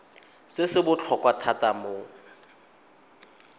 se se botlhokwa thata mo